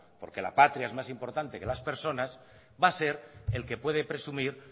porque la patria es más importante que las personas va a ser el que puede presumir